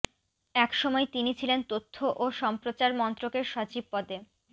একসময় তিনি ছিলেন তথ্য ও সম্প্রচার মন্ত্রকের সচিব পদে